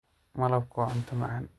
Malabku waa cunto macaan.